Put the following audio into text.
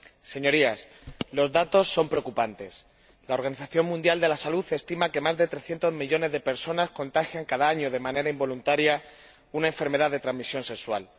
Señorías, los datos son preocupantes la Organización Mundial de la Salud estima que más de 300 millones de personas contagian cada año, de manera involuntaria, una enfermedad de transmisión sexual.